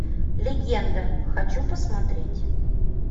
легенда хочу посмотреть